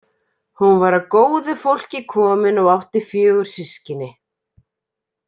Hún var af góðu fólki komin og átti fjögur systkini.